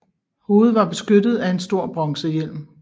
Hovedet var beskyttet af en stor bronzehjelm